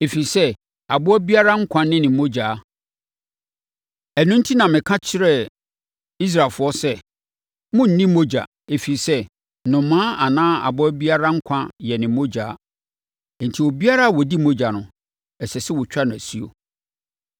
ɛfiri sɛ, aboa biara nkwa ne ne mogya. Ɛno enti na meka kyerɛɛ Israelfoɔ sɛ, “Monnni mmogya, ɛfiri sɛ, nnomaa anaa aboa biara nkwa yɛ ne mogya. Enti obiara a ɔdi mogya no, ɛsɛ sɛ wɔtwa no asuo.”